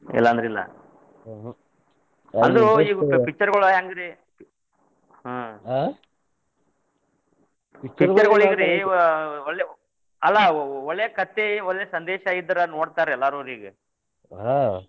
ಇಲ್ಲಾ ಅಂದ್ರ ಇಲ್ಲ ಇದು ಈ picture ಗಳ ಹೆಂಗ್ರಿ ಹ್ಮ್ picture ಗೋಳ ಅಂದ್ರರಿ ಒಳ್ಳೆ ಅಲ್ಲಾ ಒಳ್ಳೆ ಕಥೆ ಒಳ್ಳೆ ಸಂದೇಶ ಇದ್ರ ನೋಡ್ತಾರ್ ಎಲ್ಲಾರು ಈಗ .